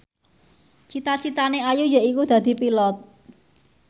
cita citane Ayu yaiku dadi Pilot